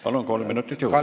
Palun, kolm minutit juurde!